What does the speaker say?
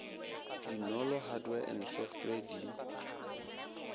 dinolo hardware and software di